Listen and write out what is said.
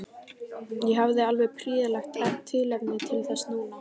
Ég hafði alveg prýðilegt tilefni til þess núna.